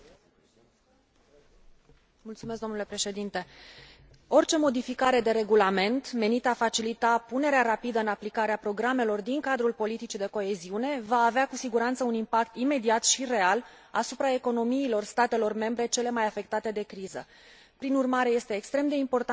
Orice modificare de regulament menită a facilita punerea rapidă în aplicare a programelor din cadrul politicii de coeziune va avea cu siguranță un impact imediat și real asupra economiilor statelor membre cele mai afectate de criză. Prin urmare, este extrem de important ca noi să adoptăm mâine raportul privind instrumentele de împărțire a riscurilor